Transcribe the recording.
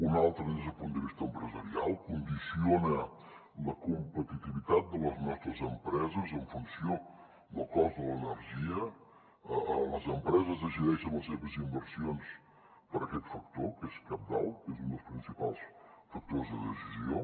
una altra des del punt de vista empresarial condiciona la competitivitat de les nostres empreses en funció del cost de l’energia les empreses decideixen les seves in versions per aquest factor que és cabdal que és un dels principals factors de decisió